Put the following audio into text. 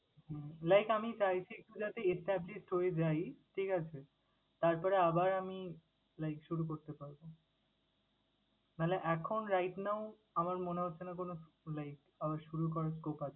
উম like আমি চাইছি যাতে established হয়ে যাই, ঠিক আছে? তারপরে আবার আমি like শুরু করতে পারবো, নাহলে এখন right now আমার মনে হচ্ছেনা কোনো like আবার শুরু করার scope আছে।